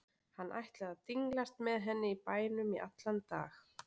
Hann ætlaði að dinglast með henni í bænum í allan dag.